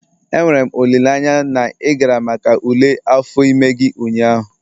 Enwere m olileanya na ị gara maka ule afọ ime gị ụnyaahụ?